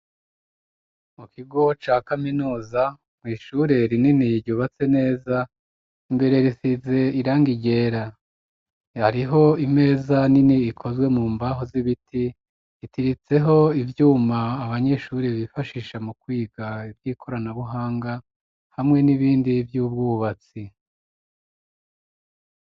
Mu kigo ca kaminoza mwishurera inini yryubatse neza imbere risize iranga iryera hariho imeza nini ikozwe mu mbaho z'ibiti itiritseho ivyuma abanyeshurire bifashisha mu kwiga ivyoikoranabuhanga hamwe n'ibindi vyubwo ubatsi.